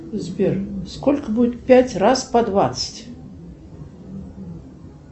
сбер сколько будет пять раз по двадцать